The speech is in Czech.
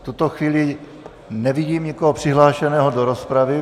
V tuto chvíli nevidím nikoho přihlášeného do rozpravy.